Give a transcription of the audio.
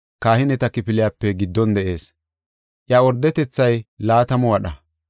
kahineta kifiliyape giddon de7ees; iya ordetethay laatamu wadha.